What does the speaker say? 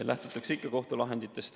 Lähtutakse ikka kohtulahenditest.